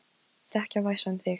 Það ætti ekki að væsa um þig.